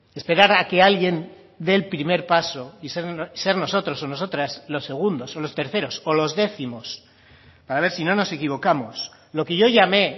esperar a que alguien dé el primer paso y ser nosotros o nosotras los segundos o los terceros o los décimos para ver si no nos equivocamos lo que yo llame